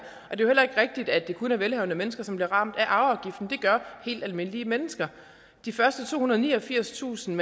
er jo heller ikke rigtigt at det kun er velhavende mennesker som bliver ramt af afgiften det gør helt almindelige mennesker de første tohundrede og niogfirstusind